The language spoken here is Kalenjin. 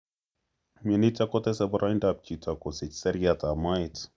Myonitok kotese boroindab chito kosich seriat ab moet